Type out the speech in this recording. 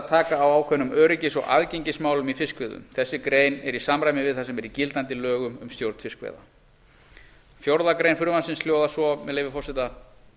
taka á ákveðnum öryggis og aðgengismálum í fiskveiðum þessi grein er í samræmi við það sem er í gildandi lögum um stjórn fiskveiða fjórðu grein frumvarpsins orðast svo með leyfi forseta